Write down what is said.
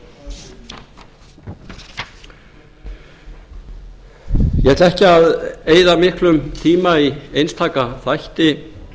vinna ég ætla ekki að eyða miklum tíma í einstaka þætti